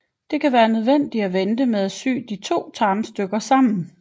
Det kan være nødvendigt at vente med at sy de to tarmstykker sammen